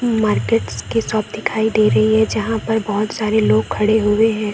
Markets के shop दिखाई दे रही है जहां पर बहुत सारे लोग खड़े हुए है।